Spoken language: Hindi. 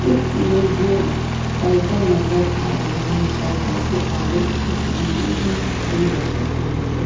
इस इमेज में साइकिल नज़र आ रही है। साइकिल के आगे एक लंबी सी सीढ़ी रखी हुई है।